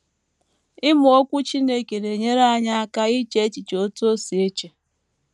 Ịmụ Okwu Chineke na - enyere anyị aka iche echiche otú o si eche